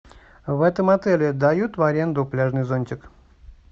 в этом отеле дают в аренду пляжный зонтик